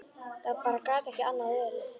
Það bara gat ekki annað verið.